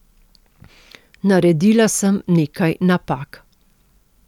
Naredila sem nekaj napak.